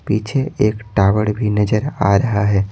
पीछे एक टावर भी नजर आ रहा है।